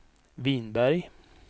Vinberg